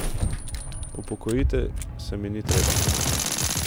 Upokojiti se mi ni treba.